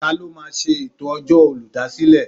Ta ló máa ṣe ètò ọjọ́ olùdásílẹ̀?